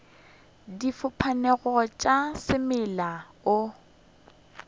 di fapanego tša semela o